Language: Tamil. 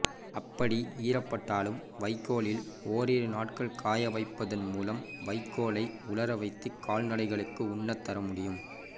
அப்படி ஈரப்பட்டாலும் வெயிலில் ஓரிரு நாட்கள் காய வைப்பதன் மூலம் வைக்கோலை உலர வைத்து கால்நடைகளுக்கு உண்ணத் தர முடியும்